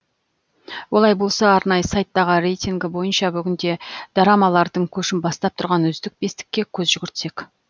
олай болса арнайы сайттағы рейтінгі бойынша бүгінде дорамалардың көшін бастап тұрған үздік бестікке көз жүгіртсек